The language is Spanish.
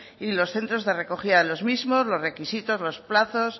y de los centros de recogida de los mismos los requisitos los plazos